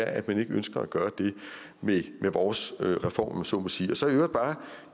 at man ikke ønsker at gøre det med vores reform om man så må sige og så